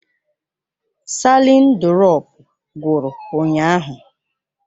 Salịn durọpu gwụrụ ụnyaahụ.